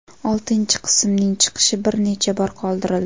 Oltinchi qismning chiqishi bir necha bor qoldirildi.